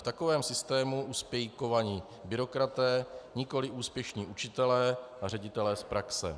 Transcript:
V takovém systému uspějí kovaní byrokraté, nikoli úspěšní učitelé a ředitelé z praxe.